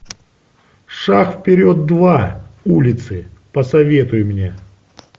шаг вперед два улицы посоветуй мне